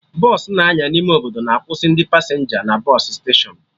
Bọsụ na-anya n'ime obodo na akwụsị ndị pasenja na bọsụ steshọnụ